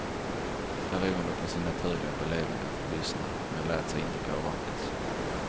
Beroende på sin naturliga belevenhet lyssnade han men lät sig inte påverkas.